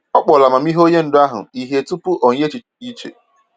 Ọ kpọrọ amamihe onye ndu ahụ ihe tupu o nye echiche dị iche.